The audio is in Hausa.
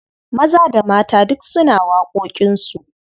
Maza da mata duk suna da waƙoƙinsu.